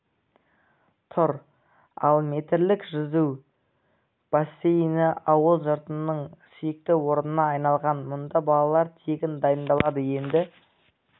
тұр ал метрлік жүзу бассейні ауыл жұртының сүйікті орнына айналған мұнда балалар тегін дайындалады енді